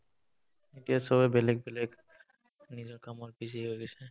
এতিয়া চবে বেলেগ বেলেগ নিজৰ কামত busy হৈ গৈছে